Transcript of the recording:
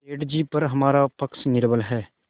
सेठ जीपर हमारा पक्ष निर्बल है